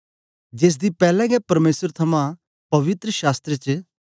जेसदी पैलैं गै परमेसर थमां पवित्र शास्त्र च